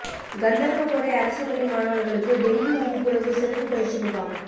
கந்தா்வகோட்டை அரசு பள்ளி மாணவா்களுக்கு டெங்கு விழிப்புணா்வு சிறப்பு பயிற்சி முகாம்